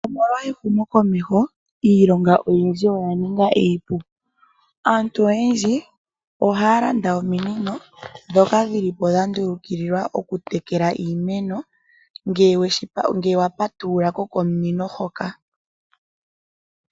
Omolwa ehumo komeho iilonga oyindji oya ninga iipu, aantu oyendji oha ya landa ominino dhoka dhilipo dhandulukilwa okutekela iimeno, ngele wa patululako komunino hoka.